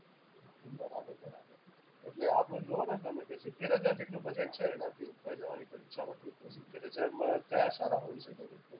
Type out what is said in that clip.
એટલે આપણે જુઓ ને તમે કે સિત્તેર હજાર જેટલું budget છે. એનાથી ઉપર જવાની કોઈ ઈચ્છા નથી. સિત્તેર હજારમાં કયા સારા હોઈ શકે?